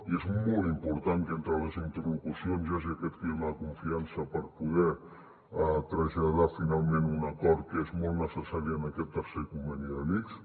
i és molt important que entre les interlocucions hi hagi aquest clima de confiança per poder traslladar finalment un acord que és molt necessari en aquest tercer conveni de l’ics